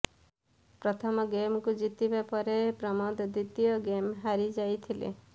ପ୍ରଥମ ଗେମକୁ ଜିତିବା ପରେ ପ୍ରମୋଦ ଦ୍ୱିତୀୟ ଗେମ୍ ହାରିଯାଇଥିଲେ